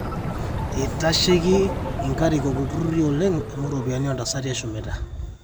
eitasheiki inkarikok ilturrurri oleng amu iropiyiani oontasati eshumita